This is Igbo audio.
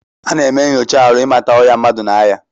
Ana eme nyocha arụ imata ọya mmadu na aya.